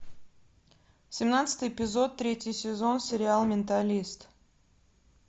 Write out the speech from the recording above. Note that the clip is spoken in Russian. семнадцатый эпизод третий сезон сериал менталист